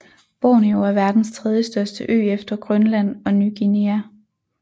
Borneo er verdens tredjestørste ø efter Grønland og Ny Guinea